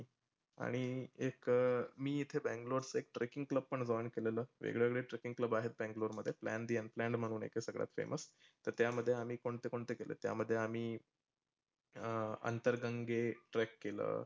आणि एक मी इथे बैंगलोरच एक trekking club पण join केलेलं. वेग वेगळे treakking club आहेत बैंगलोर मध्ये. Bangiyana Band म्हणून आहे सगळ्यात famuos. तर त्यामध्ये आम्ही कोणते कोणते केले, तर त्यामध्ये आम्ही अं अंतर गंगे trek केलं.